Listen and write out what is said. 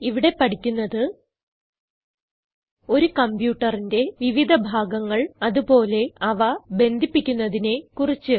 ഇവിടെ പഠിക്കുന്നത് ഒരു കംപ്യൂട്ടറിന്റെ വിവിധ ഭാഗങ്ങൾ അത് പോലെ അവ ബന്ധിപ്പിക്കുന്നതിനെ കുറിച്ച്